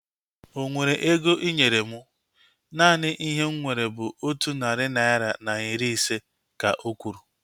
Onwere ego inyere mụ? Naanị ihe m nwere bụ otu narị naira na iri ise, ka okwuru